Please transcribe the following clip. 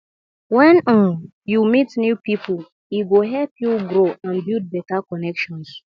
when um you meet new people e go help you grow and build better connections